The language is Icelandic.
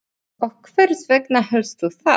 Og hvers vegna hélstu það?